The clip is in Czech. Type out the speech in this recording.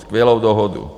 Skvělou dohodu.